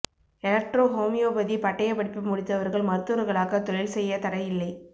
electro homeopathy பட்டயப் படிப்பு முடித்தவா்கள் மருத்துவா்களாக தொழில் செய்ய தடை இல்லை